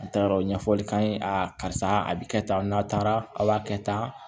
A taara o ɲɛfɔli k'an ye karisa a bi kɛ tan n'a taara a b'a kɛ tan